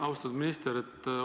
Austatud minister!